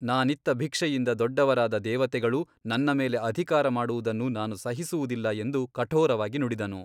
ನಾನಿತ್ತ ಭಿಕ್ಷೆಯಿಂದ ದೊಡ್ಡವರಾದ ದೇವತೆಗಳು ನನ್ನ ಮೇಲೆ ಅಧಿಕಾರ ಮಾಡುವುದನ್ನು ನಾನು ಸಹಿಸುವುದಿಲ್ಲ ಎಂದು ಕಠೋರವಾಗಿ ನುಡಿದನು.